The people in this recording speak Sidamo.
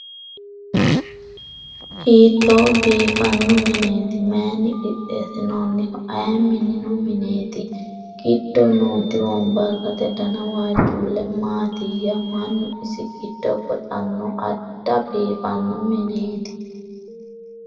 hiitto biifanno mineeti mayni qixeessinoonniho aye minino mineeti giddo nooti wombarrate dana waajjjuulle maatiyya ? mannu isi giddo goxanno? adda biifanno mineeti.